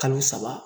Kalo saba